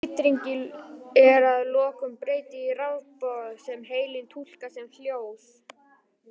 Þessum titringi er að lokum breytt í rafboð sem heilinn túlkar sem hljóð.